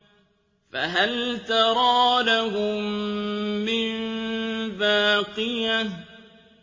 فَهَلْ تَرَىٰ لَهُم مِّن بَاقِيَةٍ